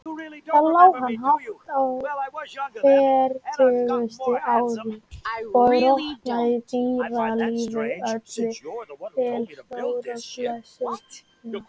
Þar lá hann hátt á fertugasta ár og rotnaði, dýralífi öllu til stórrar blessunar.